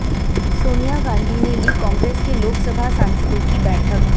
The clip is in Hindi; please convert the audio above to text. सोनिया गांधी ने ली कांग्रेस के लोकसभा सांसदों की बैठक